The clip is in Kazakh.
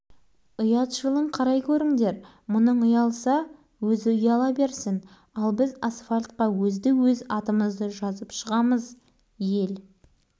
төртінші подъезде тұратын бауыржанмен бірге екінші сыныпта оқитын талғат деген толық бадырақ көз қара бала осылай деді де